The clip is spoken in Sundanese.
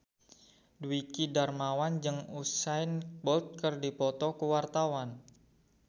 Dwiki Darmawan jeung Usain Bolt keur dipoto ku wartawan